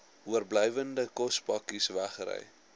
oorblywende kospakkes wegry